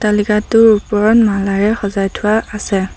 অট্টালিকাটোৰ ওপৰত মালাৰে সজাই থোৱা আছে।